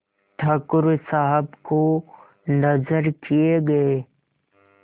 ठाकुर साहब को नजर किये गये